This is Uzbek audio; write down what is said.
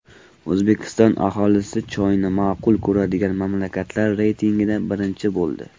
O‘zbekiston aholisi choyni ma’qul ko‘radigan mamlakatlar reytingida birinchi bo‘ldi .